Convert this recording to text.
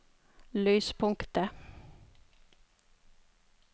lyspunktet